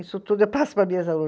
Isso tudo eu passo para minhas alunas.